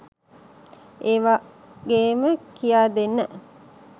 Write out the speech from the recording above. ඒවාගේම කියා දෙන්න